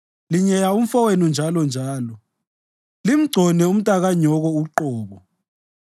Linyeya umfowenu njalonjalo, limgcone umntakanyoko uqobo.